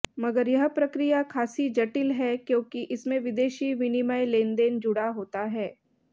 मगर यह प्रक्रिया खासी जटिल है क्योंकि इसमें विदेशी विनिमय लेनदेन जुड़ा होता है